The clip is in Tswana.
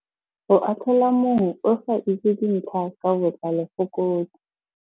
Go atlhola mongwe o sa itse dintlha ka botlalo go kotsi.